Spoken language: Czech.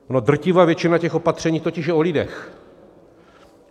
Ona drtivá většina těch opatření totiž je o lidech.